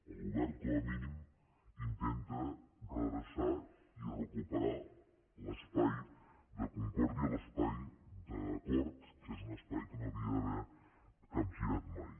el govern com a mínim intenta redreçar i recuperar l’espai de concòrdia l’espai d’acord que és un espai que no havia d’haver capgirat mai